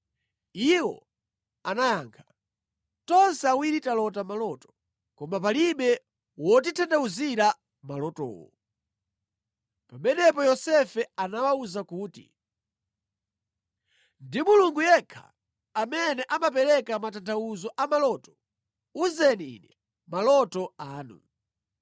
Iwo anayankha, “Tonse awiri talota maloto, koma palibe wotitanthauzira malotowo.” Pamenepo Yosefe anawawuza kuti, “Ndi Mulungu yekha amene amapereka matanthauzo a maloto. Uzeni ine maloto anu.”